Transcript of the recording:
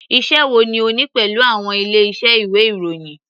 Iṣẹ́ wo ni o ní pẹ̀lú àwọn ilé iṣẹ́ ìwé ìròyìn.